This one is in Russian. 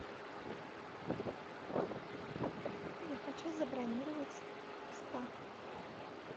я хочу забронировать спа